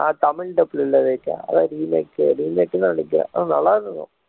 Tamil dubbed ல இல்ல விவேக் அதான் remake remake ன்னு தா நினைக்கிறேன் ஆனா நல்லா இருக்கும்